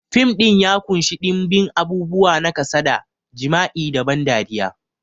Fim ɗin ya ƙunshi ɗimbin abubuwa na kasada, jima'i da ban dariya.